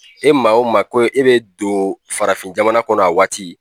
E maa o maa ko e bɛ don farafin jamana kɔnɔ a waati